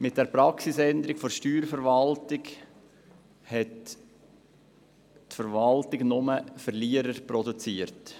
Mit der Praxisänderung der Steuerverwaltung hat die Verwaltung lediglich Verlierer produziert.